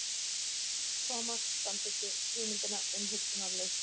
Thomas samþykkti hugmyndina umhugsunarlaust.